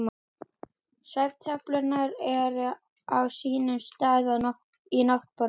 Svefntöflurnar eru á sínum stað í náttborðinu.